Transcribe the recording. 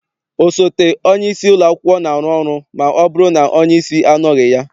Osote onyeisi ụlọakwụkwọ na-arụ ọrụ ma ọbụrụ na onyeisi anọghị ya.